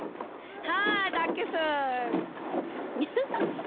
हा डाके सर